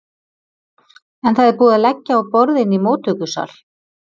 En það er búið að leggja á borð inni í móttökusal.